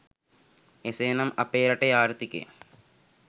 එසේ නම් අපේ රටේ ආර්ථිකය